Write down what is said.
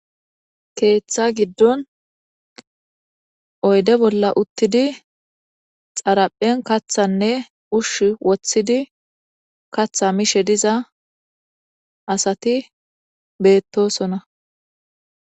keeththa giddon oyde bolla uttidi xaraphen kathanne ushsh woththidi katha mishe diza asati beettosona